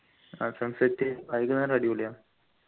ആഹ് sunset വൈകുന്നേരം അടിപൊളിയാ